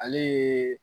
Ale ye